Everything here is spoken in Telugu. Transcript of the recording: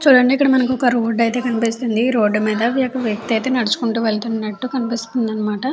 చూడండి మనకి ఇక్కడ ఒక రోడ్డు అయితే కనిపిస్తుంది రోడ్డు మీద అయితే ఒక వ్యక్తి నడుచుకుంటూ వెళ్తున్నటు కనిపిస్తుంది అన్నమాట.